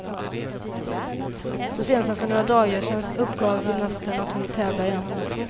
Så sent som för några dagar sedan uppgav gymnasten att hon vill tävla igen.